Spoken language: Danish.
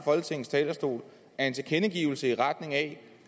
folketingets talerstol er en tilkendegivelse i retning af